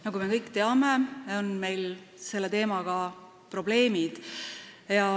Nagu me kõik teame, on meil selle teemaga probleeme.